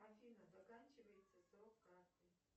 афина заканчивается срок карты